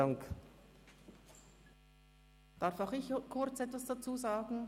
Darf auch ich kurz etwas dazu sagen?